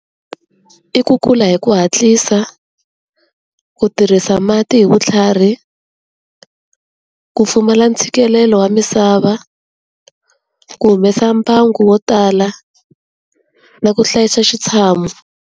I ku kula hi ku hatlisa, ku tirhisa mati hi vutlhari, ku pfumala ntshikelelo wa misava, ku humesa mbangu wo tala na ku hlayisa xitshamo.